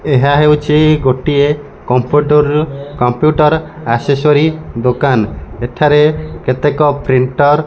ଏହା ହେଉଛି ଗୋଟିଏ କମ୍ପ୍ୟୁଟରର କମ୍ପ୍ୟୁଟର ଏସ୍ସସୂରିଜ ଦୋକାନ ଏଠାରେ କେତେକ ପ୍ରିଣ୍ଟର ।